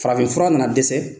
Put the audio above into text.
Farafinfura nana dɛsɛ